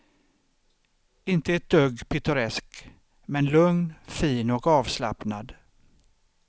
Inte ett dugg pittoresk, men lugn, fin och avslappnad.